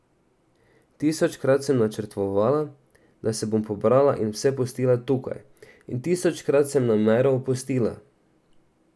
Tisočkrat sem načrtovala, da sem bom pobrala in vse pustila tukaj, in tisočkrat sem namero opustila.